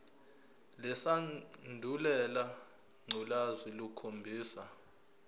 lesandulela ngculazi lukhombisa